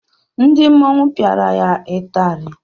Ndị mmọnwu piara ya ịtari.